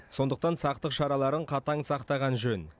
сондықтан сақтық шараларын қатаң сақтаған жөн